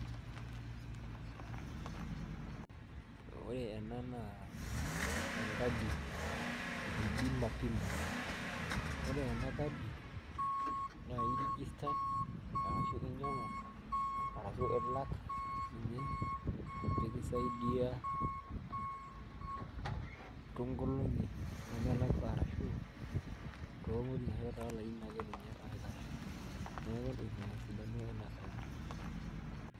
Ore ena naa enkadi e bima pima ore enakadi na iregister ashu inyangu arashu ilak ninye pekisiadia tonkolongi nemelakwa torishat olarin ake oikash neaku ina esidano enakadi.